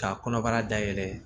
Ka kɔnɔbara dayɛlɛ